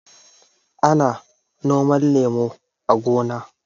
Ana noman lemu a gona.